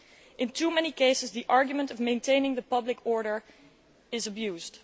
In too many cases, the argument of maintaining public order is abused.